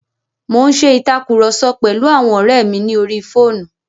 Mo n ṣe ìtàkurọ̀sọ pẹ̀lu àwọn ọ́rẹ́ mi ní orí fóònù.